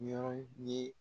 N ye yɔrɔ ye